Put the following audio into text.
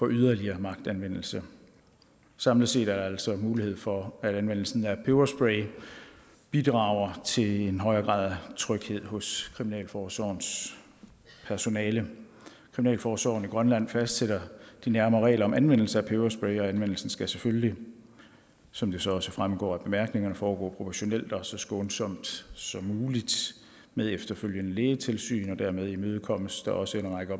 yderligere magtanvendelse samlet set er der altså mulighed for at anvendelsen af peberspray bidrager til en højere grad af tryghed hos kriminalforsorgens personale kriminalforsorgen i grønland fastsætter de nærmere regler om anvendelse af peberspray og anvendelsen skal selvfølgelig som det så også fremgår af bemærkningerne foregå proportionalt og så skånsomt som muligt med efterfølgende lægetilsyn dermed imødekommes der også en række